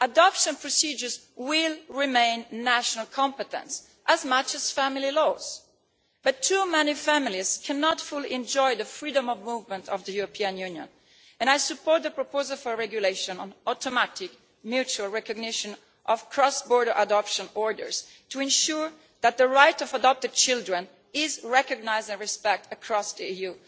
Adoption procedures will remain a national competence as much as family laws, but too many families cannot fully enjoy the freedom of movement of the European Union, and I support the proposal for a regulation on automatic mutual recognition of cross border adoption orders, to ensure that the rights of adopted children are recognised and respected across the EU.